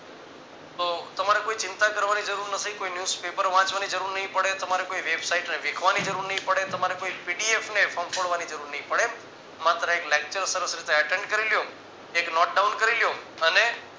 તો તમારે કોઈ ચિંતા કરવાની જરૂર નથી કોઈ news paper વાંચવાની જરૂર નહી પડે તમારે કોઈ website ને વિખવાની જરૂર નહિ પડે તમારે કોઈ pdf ને ફમ્ફોડવાની જરૂર નહિ પડે માત્ર એક lecture સરસ રીતે attend કરી લ્યો એક note down કરી લ્યો અને